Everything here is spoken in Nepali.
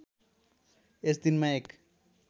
यस दिनमा एक